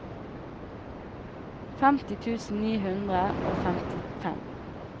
femti tusen ni hundre og femtifem